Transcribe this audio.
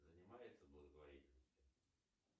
занимается благотворительностью